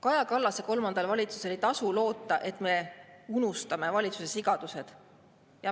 Kaja Kallase kolmandal valitsusel ei tasu loota, et me unustame valitsuse sigadused.